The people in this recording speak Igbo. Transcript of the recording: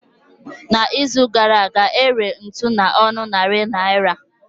Na izu gara aga, ere ntụ na ọnụ narị naira